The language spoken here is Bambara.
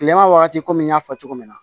Kilema wagati komi n y'a fɔ cogo min na